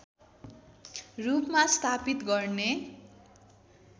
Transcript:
रूपमा स्थापित गर्ने